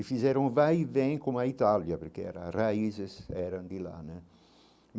E fizeram vai e vem com a Itália, porque era as raízes eram de lá.